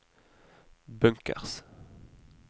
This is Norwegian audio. bunkers